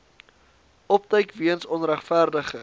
opduik weens onregverdige